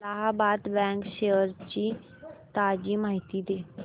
Allahabad bank shares ची ताजी माहिती दे